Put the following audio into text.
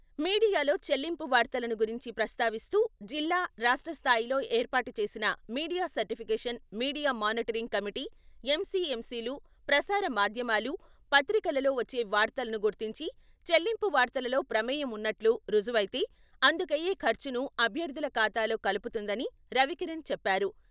మీడియాలో చెల్లింపు వార్తలను గురించి ప్రస్తావిస్తూ జిల్లా రాష్ట్ర స్థాయిలో ఏర్పాటు చేసిన media certification media monitoring committee M C M సిలు ప్రసార మాధ్యమాలు, పత్రికలలో వచ్చే వార్తలను గుర్తించి చెల్లింపు వార్తలలో ప్రమేయం ఉన్నట్లు రుజువైతే అందుకయ్యే ఖర్చును అభ్యర్థుల ఖాతాలో కలుపుతుందని రవి కిరణ్ చెప్పారు.